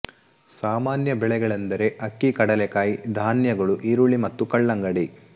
ಸಾಮಾನ್ಯ ಬೆಳೆಗಳೆಂದರೆ ಅಕ್ಕಿ ಕಡಲೇಕಾಯಿ ಧಾನ್ಯಗಳು ಈರುಳ್ಳಿ ಮತ್ತು ಕಲ್ಲಂಗಡಿ